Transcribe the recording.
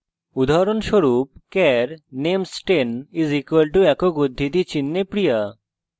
উদাহরণস্বরূপ: char names 10 = একক উদ্ধৃতি চিনহে {p r i y a}